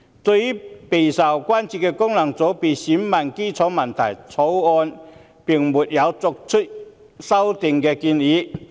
就備受關注的功能界別選民基礎問題，《條例草案》並沒有作出修訂建議。